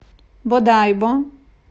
бодайбо